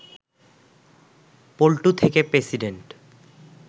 পল্টু থেকে প্রেসিডেন্ট